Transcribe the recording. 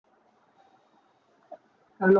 hello